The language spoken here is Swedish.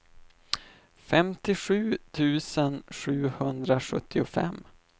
femtiosju tusen sjuhundrasjuttiofem